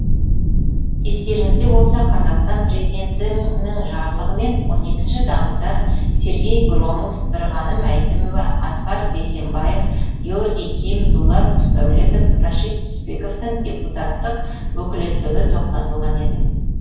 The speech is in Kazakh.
естеріңізде болса қазақстан президенті жарлығымен он екінші тамызда сергей громов бірғаным әйтімова асқар бейсенбаев георгий ким дулат құсдәулетов рашид түсіпбековтің депутаттық өкілеттігі тоқтатылған еді